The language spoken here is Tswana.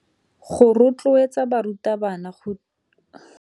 Go rotloetsa barutabana go ruta le baithuti go ithuta.